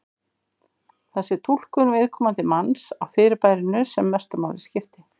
Það sé túlkun viðkomandi manns á fyrirbærinu sem mestu máli skipti.